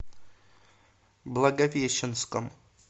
благовещенском